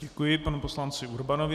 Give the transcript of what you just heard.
Děkuji panu poslanci Urbanovi.